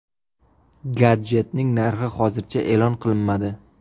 Gadjetning narxi hozircha e’lon qilinmadi.